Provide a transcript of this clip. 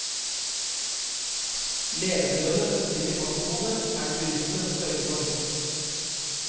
Levebrødet til de fastboende er det turistene som sørger for.